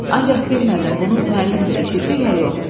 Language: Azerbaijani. Ancaq bilmədim bunu müəllim də eşitdi, ya yox.